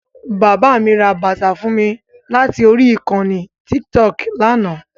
Bàbá mi ra bàtà fún mi láti orí ìkànnì tíkítọọ̀kì lánàá